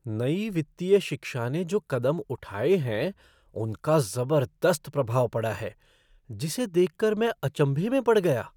नई वित्तीय शिक्षा ने जो कदम उठाए हैं, उनका ज़बरदस्त प्रभाव पड़ा है जिसे देख कर मैं अचंभे में पड़ गया!